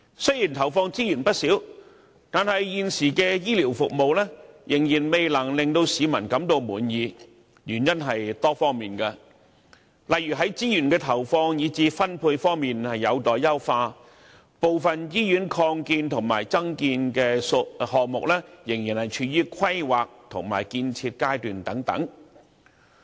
雖然投放資源不少，但現時的醫療服務仍未能令市民滿意。原因是多方面的，例如資源的投放，以至分配方面有待優化，部分醫院擴建和增建項目仍處於規劃和建設階段等。